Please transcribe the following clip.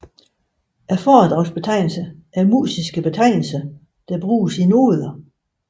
Foredragsbetegnelser er musiske betegnelser der bruges i noder